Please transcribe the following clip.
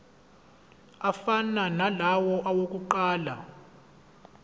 afana nalawo awokuqala